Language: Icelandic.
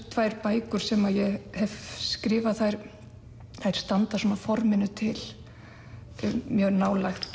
tvær bækur sem ég hef skrifað þær standa svona að forminu til mjög nálægt